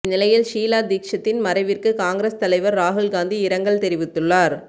இந்நிலையில் ஷீலா தீட்சித்தின் மறைவிற்கு காங்கிரஸ் தலைவர் ராகுல் காந்தி இரங்கல் தெரிவித்துள்ளார்